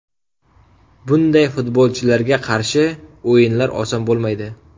Bunday futbolchilarga qarshi o‘yinlar oson bo‘lmaydi.